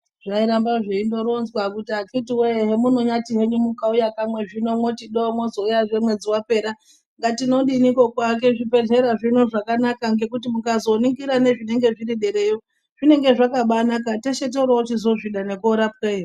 Zvairamba zveindoronzwa tikati akitiwee hemunonyaati mukauya kamwe zvino moti do mozouyazve mwedzi wapera. Tinodiniko kuake zvibhedhlera zvino zvakanaka ngekuti mukaningira zviri derayo zvinenge zvakabaanaka teshe toorochizozvida, ngekuorapweyo.